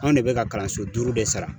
Anw de bɛ ka kalanso duuru de sara.